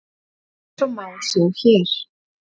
Eins og má sjá hér.